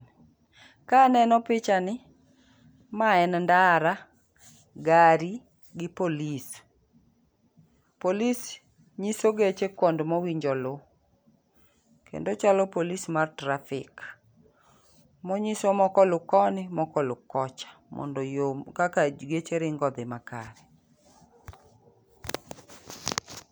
Ka aneno picha ni, ma en ndara, gari, gi polis. Polis nyiso geche kond mowinjo lu. Kendo ochalo polis mar trafi. Monyiso mokolu koni mokolu kocha. Mondo yo kaka geche ringo odhi makare.